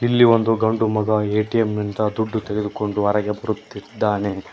ಇಲ್ಲಿ ಒಂದು ಗಂಡು ಮಗ ಎ_ಟಿ_ಎಂ ನಿಂದ ದುಡ್ಡು ತಗೆದುಕೊಂಡು ಹೊರಗೆ ಬರುತ್ತಿದ್ದಾನೆ.